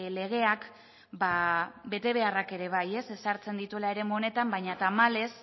legeak betebeharrak ere bai ezartzen dituela eremu honetan baina tamalez